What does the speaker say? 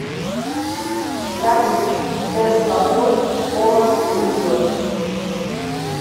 салют тесла бой холод уйдет